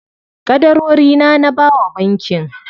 Ƙadarorina na bawa bankin.